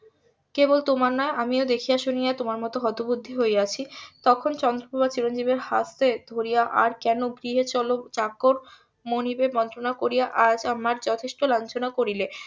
কেবল তোমার নয় আমিও দেখিয়া শুনিয়া তোমার মতোই হতবুদ্ধি হইয়াছি তখন চন্দ্রপ্রভা চিরঞ্জিব এর হাত ধরিয়া আর কেন গৃহে চলো চাকর মনিবের বঞ্চনা করিয়া আজ আমায় যথেষ্ট লাঞ্ছনা করিলে